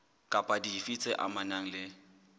kapa dife tse amanang le